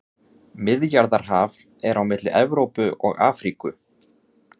Miðjarðarhaf er á milli Evrópu og Afríku.